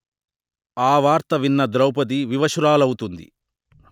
ఆ వార్త విన్న ద్రౌపది వివశురాలవుతుంది